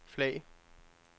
flag